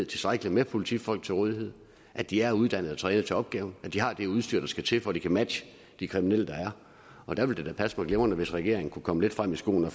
tilstrækkeligt med politifolk til rådighed at de er uddannet og trænet til opgaven at de har det udstyr der skal til for at de kan matche de kriminelle der er og der ville det da passe mig glimrende hvis regeringen kunne komme lidt frem i skoene